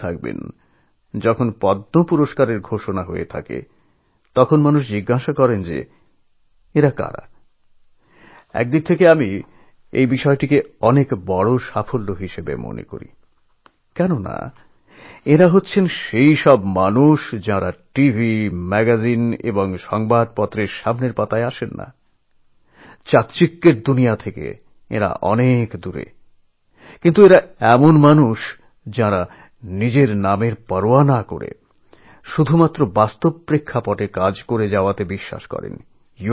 আপনারা দেখেছেন যে যখন পদ্ম পুরস্কার ঘোষণা করা হয় তখন মানুষ জানতে চান যে ইনি কে একদিক থেকে আমি এটাকে খুব বড় সাফল্য মনে করি কারণ তাঁরা সেই মানুষ যাদের টিভি ম্যাগাজিন বা খবরের কাগজের প্রথম পাতায় দেখতে পাই না এই ঝলমলে দুনিয়া থেকে অনেক দূরে কিন্তু তাঁরা এমন মানুষযাঁরা নিজের নামের পরোয়া না করে মাটির কাছাকাছি থেকে কাজ করায় বিশ্বাসী